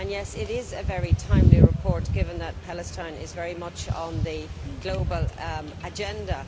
It is a very timely report, given that Palestine is very much on the global agenda.